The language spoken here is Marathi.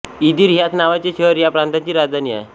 इदिर ह्याच नावाचे शहर ह्या प्रांताची राजधानी आहे